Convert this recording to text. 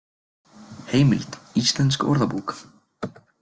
Heimild: Íslensk orðabók.